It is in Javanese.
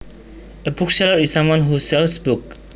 A bookseller is someone who sells books